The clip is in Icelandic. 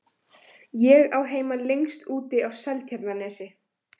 Ég á heima lengst úti á Seltjarnarnesi.